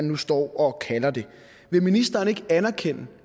nu står og kalder det vil ministeren ikke anerkende